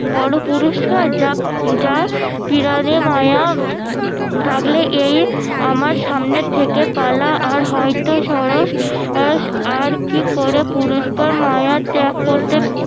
বড় পুরস্কার যা পিরানে মায়া থাকলে এই আমার সামনে থেকে পালা আর হয়তো সরস সরস আর কি করে পুরুস্কার মায়া ত্যাগ করতে